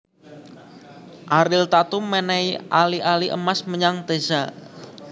Ariel Tatum menehi ali ali emas menyang Teza